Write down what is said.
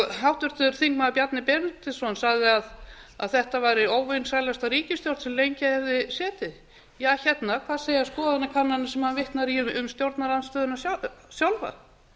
háttvirtur þingmaður bjarni benediktsson sagði að þetta væri óvinsælasta ríkisstjórn sem lengi hefði setið ja hérna hvað segja skoðanakannanir sem hann vitnar í um stjórnarandstöðuna sjálfa